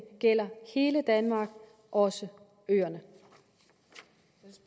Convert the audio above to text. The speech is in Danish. gælder hele danmark også øerne